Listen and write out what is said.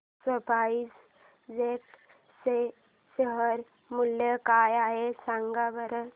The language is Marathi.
आज स्पाइस जेट चे शेअर मूल्य काय आहे सांगा बरं